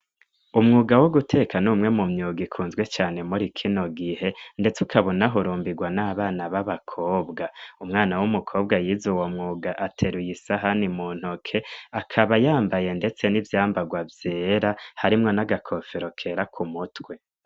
Umwuga wo guteka n'umwe mu myuga ikunzwe cane muri kino gihe, ndetse ukabunahurumbirwa n'abana b'abakobwa umwana w'umukobwa yiza uwo mwuga ateruye isahani mu ntoke akaba yambaye, ndetse n'ivyambarwa vyera harimwo n'agakofero kera ku mutwe.